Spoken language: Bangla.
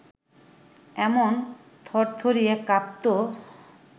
এমন থরথরিয়ে কাঁপত